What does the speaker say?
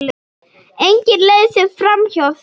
Engin leið sé framhjá því.